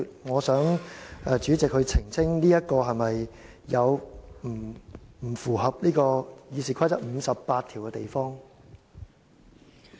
我想代理主席澄清這做法是否有不符合《議事規則》第58條的地方。